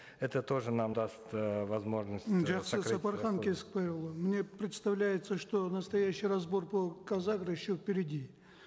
это тоже нам даст э возможность жақсы сапархан кесікбайұлы мне представляется что настоящий разбор по казагро еще впереди